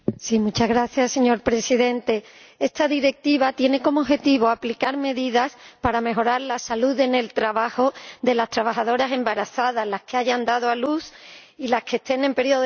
Señor Presidente, esta Directiva tiene como objetivo aplicar medidas para mejorar la salud en el trabajo de las trabajadoras embarazadas, las que hayan dado a luz, y las que estén en periodo de lactancia.